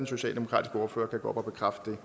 socialdemokratiske ordfører kan gå op og bekræfte